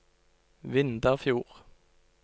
Vindafjord